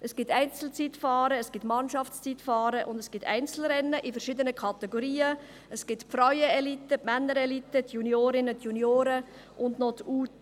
Es gibt Einzelzeitfahren, Mannschaftszeitfahren und Einzelrennen, in verschiedenen Kategorien: Frauenelite, Männerelite, Juniorinnen und Junioren sowie U23.